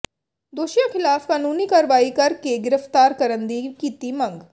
ਦੋਸ਼ੀਆਂ ਖ਼ਿਲਾਫ਼ ਕਾਨੂੰਨੀ ਕਾਰਵਾਈ ਕਰ ਕੇ ਗਿ੍ਫ਼ਤਾਰ ਕਰਨ ਦੀ ਕੀਤੀ ਮੰਗ